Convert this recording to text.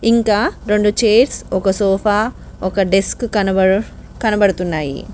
ఇంకా రొండు చైర్స్ ఒక సోఫా ఒక డెస్క్ కనబడు కనబడుతున్నాయి.